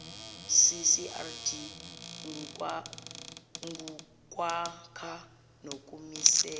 ccrd ngukwakha nokumisela